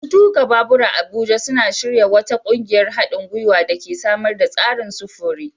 Masu tuka babura a Abuja suna shirya wata ƙungiyar haɗin guiwa da ke samar da tsarin sufuri.